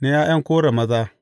Na ’ya’yan Kora maza.